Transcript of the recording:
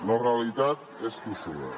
la realitat és tossuda